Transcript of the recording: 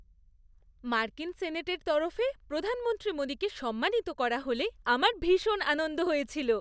মার্কিন সেনেটের তরফে প্রধানমন্ত্রী মোদীকে সম্মানিত করা হলে আমার ভীষণ আনন্দ হয়েছিল।